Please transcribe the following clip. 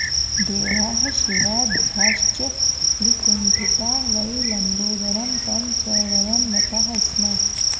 देवाः शिवाद्याश्च विकुण्ठिता वै लम्बोदरं तं च वयं नताः स्मः